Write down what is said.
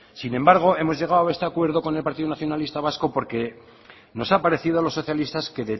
sin embargo hemos llegado a este acuerdo con el partido nacionalista vasco porque nos ha parecido a los socialistas que